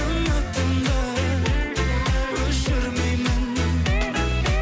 үмітімді өшірмеймін